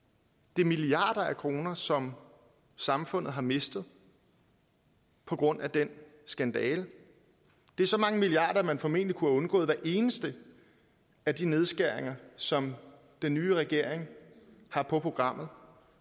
det er milliarder af kroner som samfundet har mistet på grund af den skandale det er så mange milliarder at man formentlig kunne have undgået hver eneste af de nedskæringer som den nye regering har på programmet